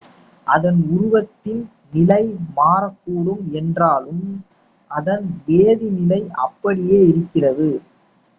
அதன் உருவத்தின் நிலை மாறக்கூடும் என்றாலும் அதன் வேதிநிலை அப்படியே இருக்கிறது